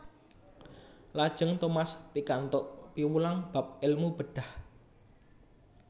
Lajeng Thomas pikantuk piwulang bab èlmu bedhah